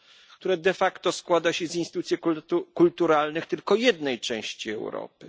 które de facto składa się z instytucji kulturalnych tylko jednej części Europy?